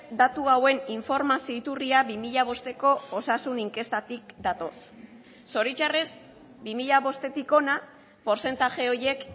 datu hauen informazio iturria bi mila bosteko osasun inkestatik datoz zoritxarrez bi mila bostetik hona portzentaje horiek